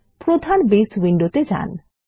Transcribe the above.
প্রধান বেস উইন্ডোতে যান